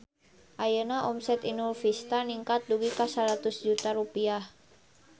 Ayeuna omset Inul Vista ningkat dugi ka 100 juta rupiah